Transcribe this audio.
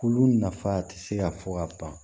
Olu nafa tɛ se ka fɔ ka ban